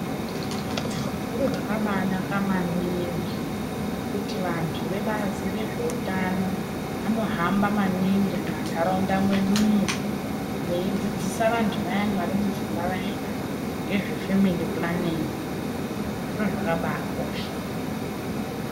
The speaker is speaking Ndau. Zviro zvakabaanaka maningi zvekuti vanthu vebazi rezveutano vanohamba maningi mumantharaunda mwedu umwu veidzidzise vanthu vayana vari mudzimba ngezve femili puraningi zviro zvakabaa kosha.